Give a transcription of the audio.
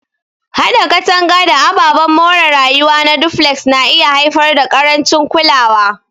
Haɗa katanga da ababen more rayuwa na duflex na iya haifar da ƙarancin kulawa.